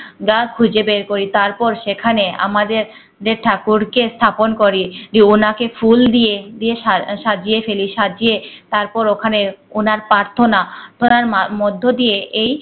যা খুঁজে বের করি তারপর সেখানে আমাদের যে ঠাকুরকে স্থাপন করি। জি ওনাকে ফুল দিয়ে দিয়ে সা সাজিয়ে ফেলি সাজিয়ে তারপর ওখানে ওনার প্রাথণা করা ম মধ্যে দিয়ে এই